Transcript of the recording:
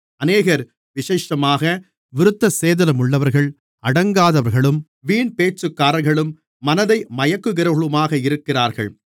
அநேகர் விசேஷமாக விருத்தசேதனமுள்ளவர்கள் அடங்காதவர்களும் வீண் பேச்சுக்காரர்களும் மனதை மயக்குகிறவர்களுமாக இருக்கிறார்கள்